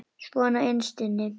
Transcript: Svona innst inni.